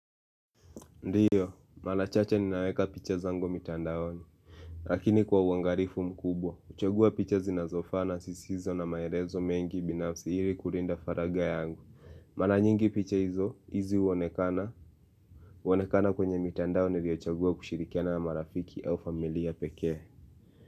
Ndiyo, mara chache ninaweka picha zangu mitandaoni. Lakini kwa uwangalivu mkubwa, huchagua picha zinazofana sisi hizo na maelezo mengi binafsi ili kulinda faragha yangu. Mara nyingi picha hizo, hizi huonekana. Huonekana kwenye mitandaoni niliyochagua kushirikiana marafiki au familia pekee.